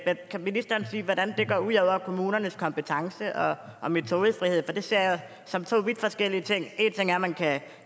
men kan ministeren sige hvordan det går ud over kommunernes kompetence og og metodefrihed for det ser jeg som to vidt forskellige ting en ting er at man kan